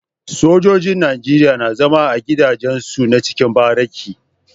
Sojojin nigeria na zama a gida jen su na cikin bariki